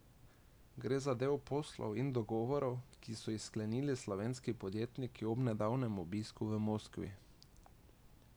Gre za del poslov in dogovorov, ki so jih sklenili slovenski podjetniki ob nedavnem obisku v Moskvi.